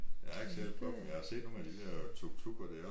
Jeg har ikke selv prøvet men jeg har set nogle af de der tuktukker der